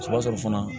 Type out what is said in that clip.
O b'a sɔrɔ fana